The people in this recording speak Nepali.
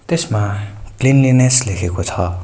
त्यसमा क्लिनलीनेस लेखेको छ।